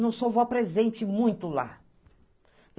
Não sou vó presente muito lá.